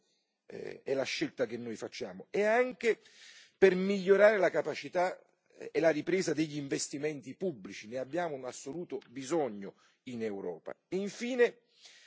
È questa innanzitutto la scelta che noi facciamo, anche per migliorare la capacità e la ripresa degli investimenti pubblici di cui abbiamo un assoluto bisogno in Europa.